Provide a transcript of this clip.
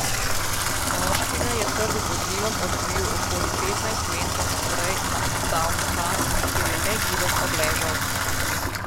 Moškega je trk z vozilom odbil okoli petnajst metrov naprej na odstavni pas, kjer je negiben obležal.